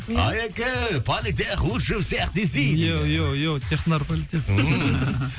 алеке политех лучше всех десей технар политех ммм